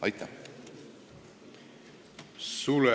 Aitäh!